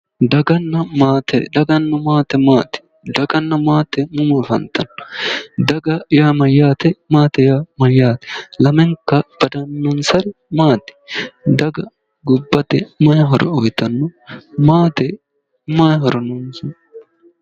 Daganna maate daganna maate maati daganna maate mama afantanno daga yaa mayyaate maate yaa mayyaate lamenka badannonsari maati daga gobbate mayi horo uyitanno maatete mayi horo noonsa